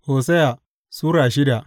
Hosiya Sura shida